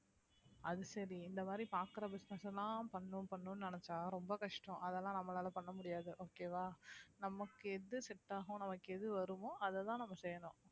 அது சரி இந்த மாறி பாக்குற business ல பண்ணணு பண்ணணு நெனச்ச ரொம்ப கஷ்டம் அதெல்லாம் நம்மளால பண்ண முடியாது okay வா நமக்கு எது set ஆகும் நமக்கு எது வருமோ அதுதான் நம்ம செய்யணும்